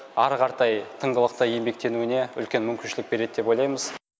әрі қаратай тыңғылықты еңбектенуіне үлкен мүмкіншілік береді деп ойлаймыз